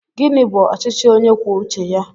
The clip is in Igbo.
Gịnị bú ọchịchị ónyé kwụọ uche ya?